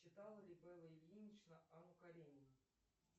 читала ли белла ильинична анну каренину